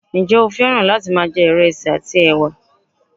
njé o fẹràn láti ma je ìresì àti ẹwà